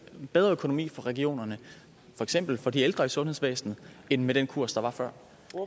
en bedre økonomi for regionerne for eksempel for de ældre i sundhedsvæsenet end med den kurs der var før